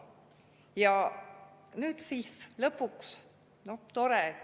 Ja nüüd siis lõpuks – tore!